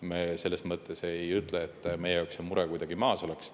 Me selles mõttes ei ütle, et meie jaoks on mure kuidagi maas.